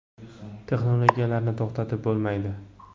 Texnologiyalarni to‘xtatib bo‘lmaydi.